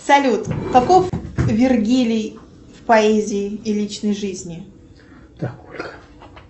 салют каков вергилий в поэзии и личной жизни